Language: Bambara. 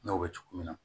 N y'o bɛ cogo min na